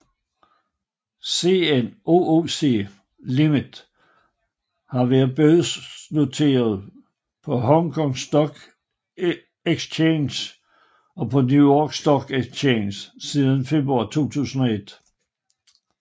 CNOOC Limited har været børsnoteret på Hong Kong Stock Exchange og New York Stock Exchange siden februar 2001